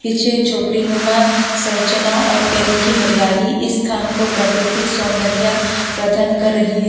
पीछे झोपड़ी नुमा संरचना और पेड़ो की हरियाली इस स्थान को प्रकृतिक सौंदर्या प्रदान कर रही है।